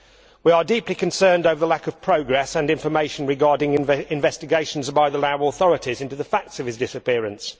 We are deeply concerned by the lack of progress and information regarding investigations by the Lao authorities into the facts of his disappearance.